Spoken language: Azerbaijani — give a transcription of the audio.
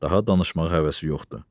daha danışmağa həvəsi yoxdur,